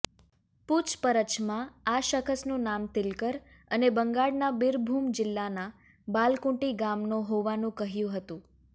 પુછપરછમાં આ શખસનું નામ તિલકર અને બંગાળના બિરભુમ જિલ્લાના બાલકુંટી ગામનો હોવાનું કહ્યુ હતું